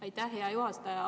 Aitäh, hea juhataja!